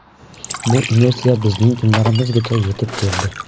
Bu inersiya bizning kunlarimizgacha yetib keldi.